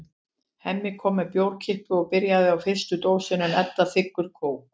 Hemmi kom með bjórkippu og er byrjaður á fyrstu dósinni en Edda þiggur kók.